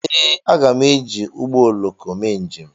Ee, aga m eji ụgbọ oloko mee njem.